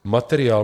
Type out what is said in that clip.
Materiál.